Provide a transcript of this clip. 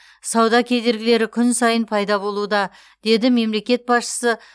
сауда кедергілері күн сайын пайда болуда деді мемлекет басшысы